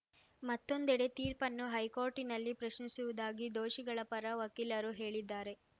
ಮತ್ತೊಂದೆಡೆ ತೀರ್ಪನ್ನು ಹೈಕೋರ್ಟಿನಲ್ಲಿ ಪ್ರಶ್ನಿಸುವುದಾಗಿ ದೋಷಿಗಳ ಪರ ವಕೀಲರು ಹೇಳಿದ್ದಾರೆ